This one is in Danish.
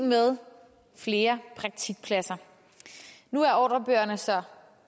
med flere praktikpladser nu er ordrebøgerne så